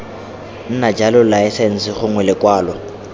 nna jalo laesense gongwe lekwalo